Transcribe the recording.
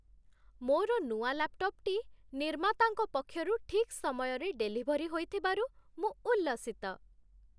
ମୋର ନୂଆ ଲାପ୍‌ଟପ୍‌ଟି ନିର୍ମାତାଙ୍କ ପକ୍ଷରୁ ଠିକ୍ ସମୟରେ ଡେଲିଭରୀ ହୋଇଥିବାରୁ ମୁଁ ଉଲ୍ଲସିତ।